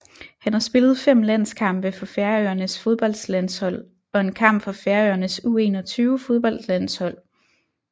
Han har spillet 5 landskampe for Færøernes fodboldlandshold og en kamp for Færøernes U21 fodboldlandshold